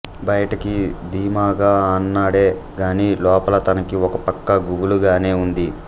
బయటికి ధీమాగా అన్నాడే గాని లోపల తనకి ఒక పక్క గుబులుగానే ఉంది